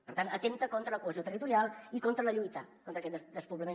per tant atempta contra la cohesió territorial i contra la lluita contra aquest despoblament